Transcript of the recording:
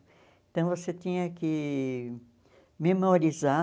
Então você tinha que memorizar